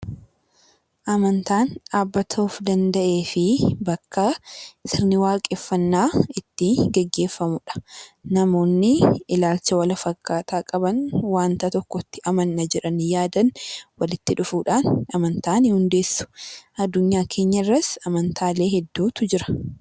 Amantaan dhaabbata of danda'ee fi sirni waaqeffannaa kan itti gaggeeffamudha. Namoonni ilaalcha wal fakkaataa qaban waliin amanna jedhanii yaadan walitti dhufuudhaan amantaa ni hundeessu. Adunyaa keenya irras amantaalee hedduutu jira.